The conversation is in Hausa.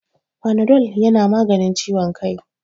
Fanadol ya na maganin ciwon kai